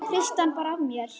Hristi hann bara af mér.